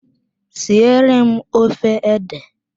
Siere m ofe ede!